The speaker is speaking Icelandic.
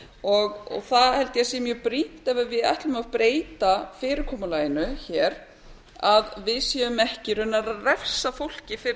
og það held ég að sé mjög brýnt ef við ætlum að breyta fyrirkomulaginu hér að við séum ekki raunar að refsa fólki fyrir